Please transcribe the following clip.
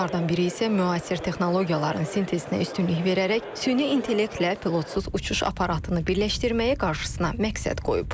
Onlardan biri isə müasir texnologiyaların sintezinə üstünlük verərək süni intellektlə pilotsuz uçuş aparatını birləşdirməyi qarşısına məqsəd qoyub.